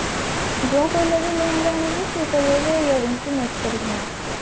ଯୋଉ color ଲେହେଙ୍ଗା ଆଣିବୁ ସେଇ color ର year ring ବି match କରିକି ନେଇ ଆସିବା